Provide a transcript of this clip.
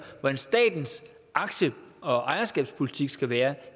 hvordan statens aktie og ejerskabspolitik skal være